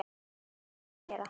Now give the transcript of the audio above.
Svona áttu að gera.